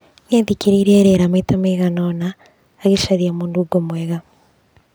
Nĩ athikĩrĩirie rĩera maita maigana ũna, agĩcaragia mũnungo mwega.